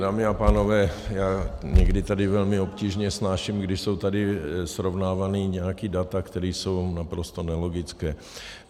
Dámy a pánové, já někdy tady velmi obtížně snáším, když jsou tady srovnávána nějaká data, která jsou naprosto nelogická.